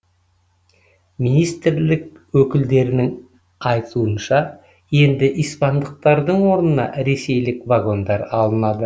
министрлік өкілдерінің айтуынша енді испандықтардың орнына ресейлік вагондар алынады